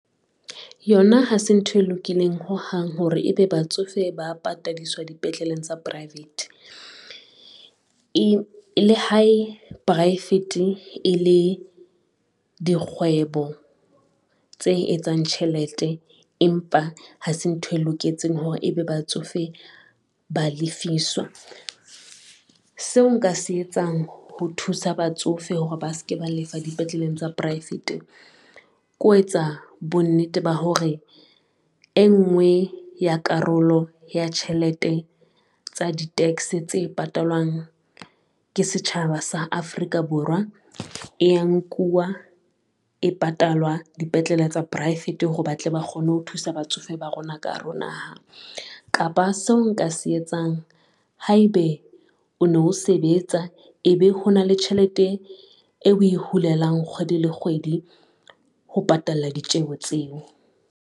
Yona ha se ntho e lokileng hohang hore ebe batsofe ba patadiswa dipetleleng tsa private. Le ha poraefete e le dikgwebo tse etsang tjhelete, empa ha se ntho e loketseng hore ebe batsofe ba lefiswa. Seo nka se etsang ho thusa batsofe hore ba ske ba lefa dipetleleng tsa poraefete, ke ho etsa bonnete ba hore e ngwe ya karolo ya tjhelete tsa di-tax tse patalwang ke setjhaba sa Afrika Borwa, e nkuwa e patalwa dipetlele tsa poraefete hore batle ba kgone ho thusa batsofe ba rona ka hare ho naha. Kapa seo nka se etsang haebe o no sebetsa, ebe ho na le tjhelete eo oe hulelwang kgwedi le kgwedi, ho patela ditjeho tseo.